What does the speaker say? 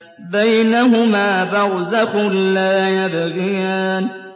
بَيْنَهُمَا بَرْزَخٌ لَّا يَبْغِيَانِ